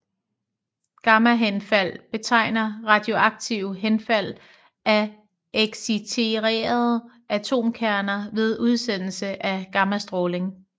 Gammahenfald betegner radioaktive henfald af exciterede atomkerner ved udsendelse af gammastråling